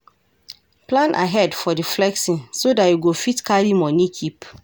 plan ahead for di flexing so dat you go fit carry money keep